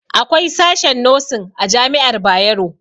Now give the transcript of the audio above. Akwai sashen nosin a jami'ar Bayero